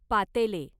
पातेले